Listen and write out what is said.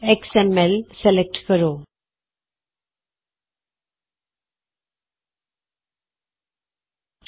X M L ਕਟਚ ਲੈਕਚਰ Filesktouchਐਕਸਐਮਐਲ ਸਲੈਕਟ ਕਰੋ